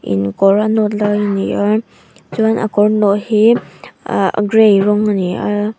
in a kawr a nawt lai ani a chuan a kawr nawh hi ah gray rawng ani a.